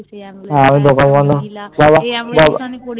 হ্যা Ambulance